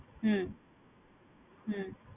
হম হম